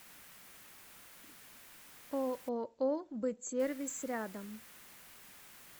ооо бытсервис рядом